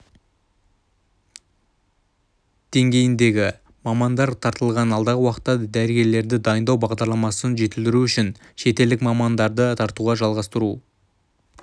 деңгейіндегі мамандар тартылған алдағы уақытта да дәрігерлерді дайындау бағдарламасын жетілдіру үшін шетелдік мамандарды тартуды жалғастыру